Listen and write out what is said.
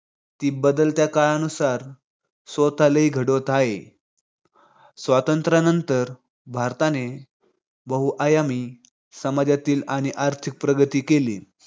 ते बदलत्या काळानुसार स्वतःलाही घडवत आहे. स्वातंत्र्य नंतर भारताने बहुआयामी समाजातील आणि आर्थिक प्रगती केली.